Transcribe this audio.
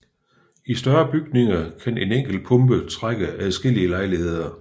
I større bygninger kan en enkelt pumpe trække adskillige lejligheder